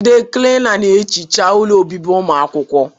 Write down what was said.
Ndị Klina na-ehicha ụlọ obibi ụmụ akwụkwọ kw